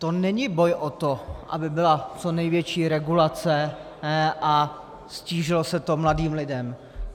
To není boj o to, aby byla co největší regulace a ztížilo se to mladým lidem.